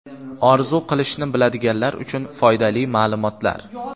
Orzu qilishni biladiganlar uchun foydali ma’lumotlar.